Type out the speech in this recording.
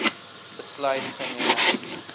besluit geneem